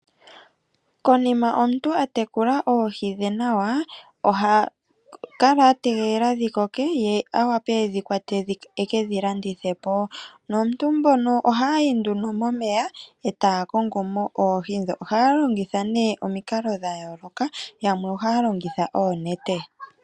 Konima omuntu atekula oohi dhe nawa oha kala ategelela dhikoke ye awape edhikwate ekedhi landithepo. Nomuntu ohayi nduno momeya ee taya kongomo oohi dhoo. Ohaya longitha nee omikalo dhayooloka yamwe ohaya longitha oonete.